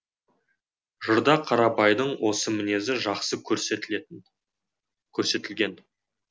жырда қарабайдың осы мінезі жақсы көрсетілген